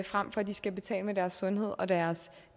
frem for at de skal betale med deres sundhed og deres